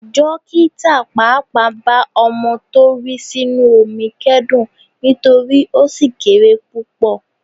Dókítà pàápàá bá ọmọ tó rì sínú omi kẹ́dùn nítorí ó ṣì kéré púpọ̀.